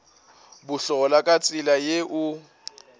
bohlola ka tsela ye o